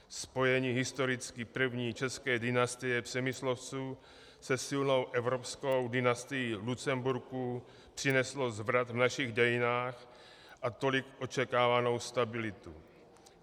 Spojení historicky první české dynastie Přemyslovců se silnou evropskou dynastií Lucemburků přineslo zvrat v našich dějinách a tolik očekávanou stabilitu.